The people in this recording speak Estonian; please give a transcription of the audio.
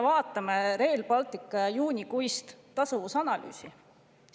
Vaatame Rail Balticu juunikuist tasuvusanalüüsi.